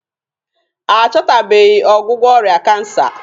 A chọtabeghi ọgwụgwọ ọrịa kansa.